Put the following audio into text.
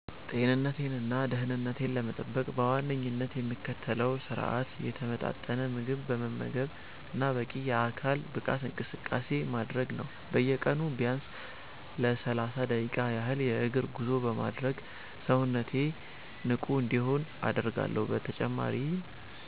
ጤንነቴንና ደህንነቴን ለመጠበቅ በዋነኝነት የምከተለው ስርአት የተመጣጠነ ምግብ መመገብና በቂ የአካል ብቃት እንቅስቃሴ ማድረግ ነው። በየቀኑ ቢያንስ ለሰላሳ ደቂቃ ያህል የእግር ጉዞ በማድረግ ሰውነቴ ንቁ እንዲሆን አደርጋለሁ። በተጨማሪም